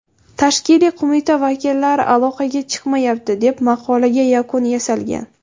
Tashkiliy qo‘mita vakillari aloqaga chiqmayapti, deb maqolaga yakun yasalgan.